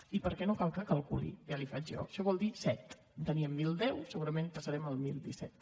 i no cal que calculi ja l’hi faig jo això vol dir set en teníem mil deu segurament passarem a mil disset